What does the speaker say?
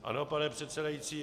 Ano, pane předsedající.